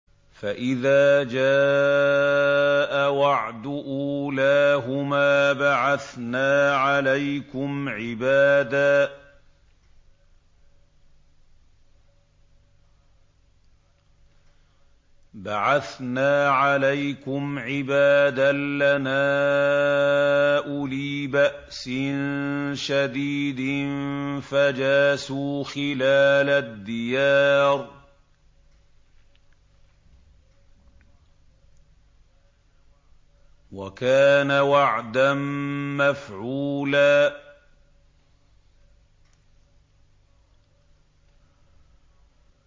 فَإِذَا جَاءَ وَعْدُ أُولَاهُمَا بَعَثْنَا عَلَيْكُمْ عِبَادًا لَّنَا أُولِي بَأْسٍ شَدِيدٍ فَجَاسُوا خِلَالَ الدِّيَارِ ۚ وَكَانَ وَعْدًا مَّفْعُولًا